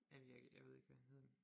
Jamen jeg ved ikke hvad han hedder nu